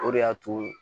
O de y'a to